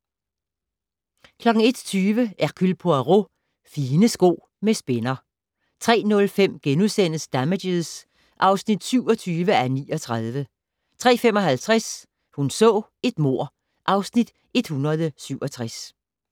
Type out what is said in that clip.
01:20: Hercule Poirot: Fine sko med spænder 03:05: Damages (27:39)* 03:55: Hun så et mord (Afs. 167)